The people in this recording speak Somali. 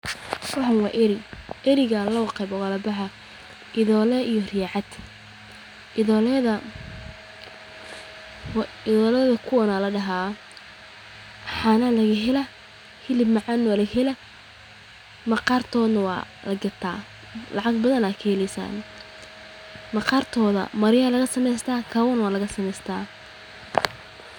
Waxaan waa Ari, laba qeeb ayuu ukala baxaan, indole iyo ari cad, idole waa kuwaan, hilib ayaa laga helaa, lacag badan, maqartooda marya iyo kaba ayaa laga sameesta.